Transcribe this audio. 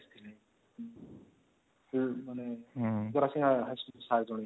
ହଁ ମାନେ Khadasingi high school ର sir ଜଣେ ଆସିଥିଲେ